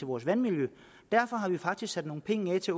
vores vandmiljø derfor har vi faktisk sat nogle penge af til